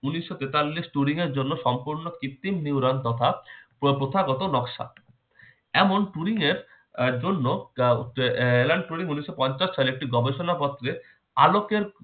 উনিশশো তেতাল্লিশ turing এর জন্য সম্পূর্ণ কৃত্রিম neuron তথা প্রথাগত নকশা। এমন turing এর আহ জন্য আহ alen turing উনিশশো পঞ্চাশ সালে একটি গবেষণা পত্রে আলোকের